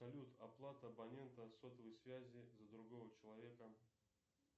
салют оплата абонента сотовой связи за другого человека